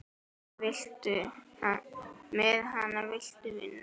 Með hana viltu vinna.